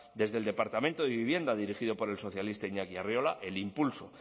desde el departamento de vivienda dirigido por el socialista iñaki arriola el impulso